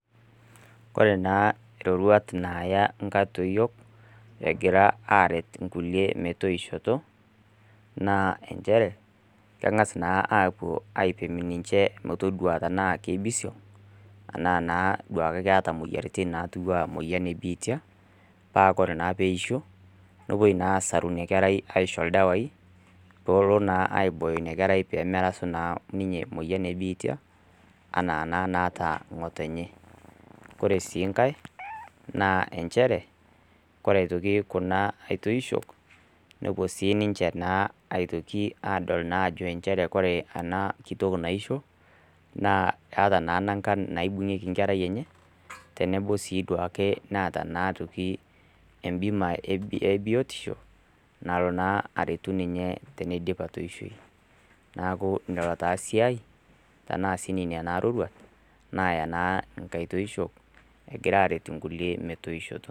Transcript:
Kore naa iroruat naaya nkatoyiok egira aret inkulie metoishoto naa enchere keng'as naa aapuo aipim ninche motodua tenaa keibisiong anaa naa duake keeta moyiaritin natiwua moyian e biitia paa kore naa peisho nopuoi naa asaru inia kerai aisho ildawai poolo naa aibooyo ina kerai pemerasu naa ninye moyian ebiitia anaa naata ng'otenye kore sii nkae naa enchere kore aitoki kuna aitoishok nepuo sininche naa aitoki adol naajo enchere kore ana kitok naisho naa eata naa nankan naibung'ieki nkerai enye tenebo sii duake naata naa atoki embima ebiotisho nalo naa aretu ninye teneidip atoishoyu naku nelo taa siai tanaa sii nenia sii iroruat naaya naa nkatoishok egira aret inkulie metoishoto.